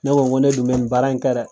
Ne ko ŋo ne dun be nin baara in kɛ dɛ.